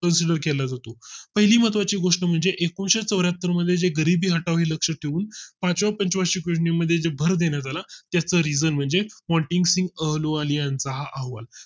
consider केलं होतो पहिली महत्वाची गोष्ट म्हणजे एकुणिशे चौर्‍याहत्तर मध्ये गरीबी हटावी ते लक्ष ठेवून पाचव्या पंचवार्षिक योजने मध्ये भर देण्यात आला त्या region म्हणजे ponting लोण्याचा आहे